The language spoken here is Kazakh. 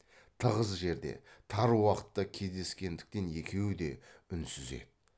тығыз жерде тар уақытта кездескендіктен екеуі де үнсіз еді